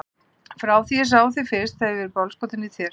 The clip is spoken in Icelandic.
Frá því að ég sá þig fyrst hef ég verið bálskotinn í þér.